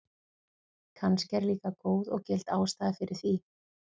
Kannski er líka góð og gild ástæða fyrir því.